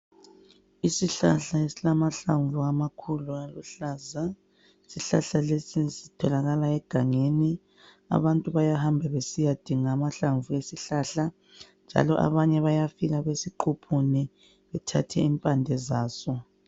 Isihlahla esilamahlamvu amakhulu aluhlaza. Isihlahla lesi sitholakala egangeni. Abantu bayahamba besiyadinga amahlamvu ezihlahla , njalo abanye bayafika besiquphune bethathe impande zaso.